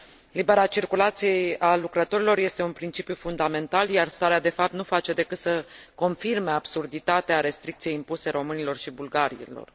Libera circulație a lucrătorilor este un principiu fundamental, iar starea de fapt nu face decât să confirme absurditatea restricției impuse românilor și bulgarilor.